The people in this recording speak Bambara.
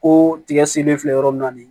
Ko tigɛ sen be filɛ yɔrɔ min na bi